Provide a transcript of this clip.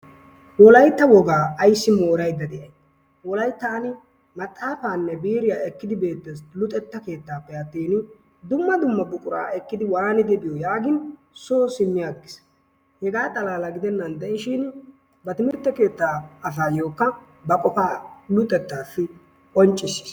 Wolaytta wogaa ayssi moorayidda de'ay? wolayttaani maxaafaanne biiriya ekkidi beettees luxetta keettaappe attiini dumma dummabaa ekkidi waanidi biyoo? yaagin soo simmi aggis. Hegaa xalala gidennan de'ishiin ba timirtte keetaayookka ba qofaa luxettaassi qonccissis.